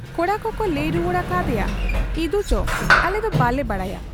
ᱠᱚᱲᱟ ᱠᱚᱠᱚ ᱞᱟᱹᱭ ᱨᱩᱣᱟᱹᱲ ᱟᱠᱟ ᱟᱫᱮᱭᱟ, 'ᱤᱫᱩᱪᱚ ᱟᱞᱮ ᱫᱚ ᱵᱟᱞᱮ ᱵᱟᱰᱟᱭᱟ ᱾'